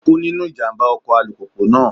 Ó kú nínú ìjàmbá ọkọ̀ alùpùpù náà.